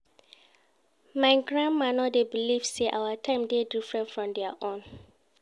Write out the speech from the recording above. My grandmama no dey believe sey our time dey different from their own.